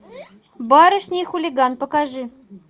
барышня и хулиган покажи